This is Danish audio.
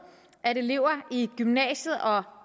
at elever i gymnasiet og